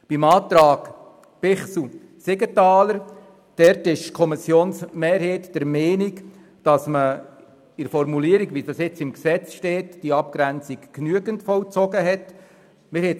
Beim Antrag Bichsel/Siegenthaler ist die Kommissionsmehrheit der Meinung, mit der Formulierung, die jetzt im Gesetz steht, sei die Abgrenzung genügend vollzogen worden.